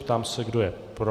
Ptám se, kdo je pro.